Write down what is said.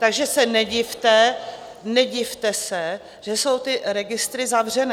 Takže se nedivte, nedivte se, že jsou ty registry zavřené.